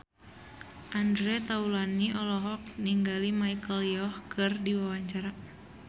Andre Taulany olohok ningali Michelle Yeoh keur diwawancara